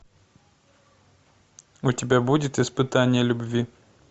у тебя будет испытание любви